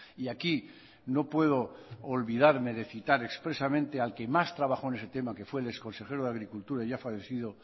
y aquí no puedo olvidarme de citar expresamente al que más trabajó en ese tema que fue el ex consejero de agricultura ya fallecido